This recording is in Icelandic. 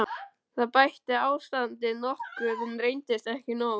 Það bætti ástandið nokkuð, en reyndist ekki nóg.